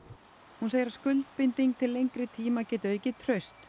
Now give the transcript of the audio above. hún segir að skuldbinding til lengri tíma geti aukið traust